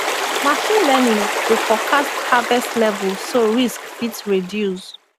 machine learning dey forecast harvest level so risk fit reduce